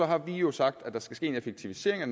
har vi jo sagt at der skal ske en effektivisering af